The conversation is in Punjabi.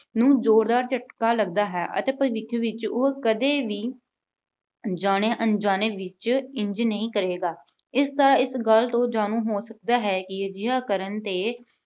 ਨੂੰ ਜ਼ੋਰ ਦਾ ਝਟਕਾ ਲੱਗਦਾ ਹੈ ਅਤੇ ਭਵਿੱਖ ਵਿੱਚ ਉਹ ਕਦੇ ਵੀ ਜਾਣੇ-ਅਣਜਾਣੇ ਵਿੱਚ ਇੰਜ ਨਹੀਂ ਕਰੇਗਾ। ਇਸ ਤਰ੍ਹਾਂ ਇਸ ਗੱਲ ਤੋਂ ਜਾਣੂ ਹੋ ਸਕਦਾ ਹੈ ਕਿ ਅਜਿਹਾ ਕਰਨ 'ਤੇ